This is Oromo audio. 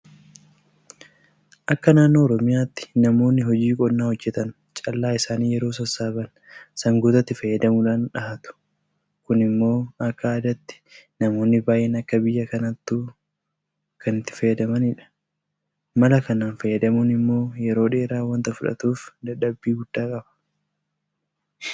Akka naannoo Oromiyaatti namoonni hojii qonnaa hojjetan callaa isaanii yeroo sassaaban sangootatti fayyadamuudhaan dhahatu. Kun immoo akka aadaatti namoonni baay'een akka biyya kanaattuu kan itti fayyadamanidha. Mala kanaan fayyadamuun immoo yeroo dheeraa waanta fudhatuuf dadhabbii guddaa qaba.